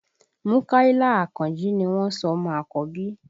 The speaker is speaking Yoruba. Múkàílà Àkànjí ni wọ́n sọ ọmọ àkọ́bí